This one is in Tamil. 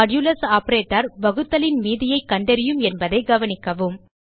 மாடுலஸ் ஆப்பரேட்டர் வகுத்தலின் மீதியை கண்டறியும் என்பதைக் கவனிக்கவும்